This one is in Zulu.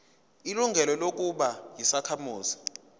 ilungelo lokuba yisakhamuzi